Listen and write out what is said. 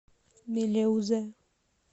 мелеузе